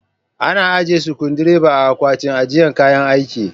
Ana ajiye sukundireba a Akwatin ajiye kayan aiki.